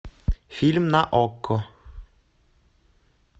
фильм на окко